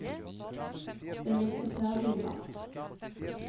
Den vil stå ferdig i mars.